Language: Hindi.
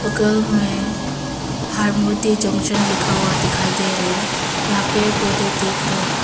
बगल में हार्मोती जंकशन लिखा हुआ दिखाई दे रहे है यहां पेढ़ पोढ़े दिख रहे --